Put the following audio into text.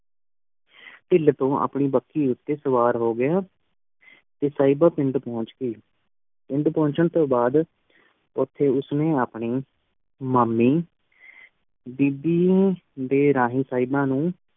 ਵਿਚ ਸਵਾਰ ਹੋ ਗਿਆ ਤੇ ਸਾਹੇਬਾ ਪਿੰਡ ਪਹੁੰਚ ਗਈ, ਪਿੰਡ ਪਹੁੰਚਣ ਤੋਂ ਬਾਦ ਓਥੇ ਉਸਨੇ ਆਪਣੀ ਮਾਮੀ ਬੀਬੀ ਦੇ ਰਾਹੀਂ ਸਾਹਿਬਾਂ ਨੂੰ